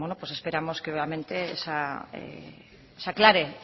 pues esperamos que nuevamente se aclare